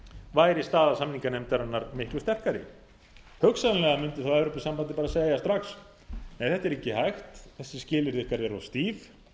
væri staða samninganefndarinnar miklu sterkari hugsanlega mundi þá evrópusambandið bara segja strax nei þetta er ekki hægt þessi skilyrði ykkar eru of stíf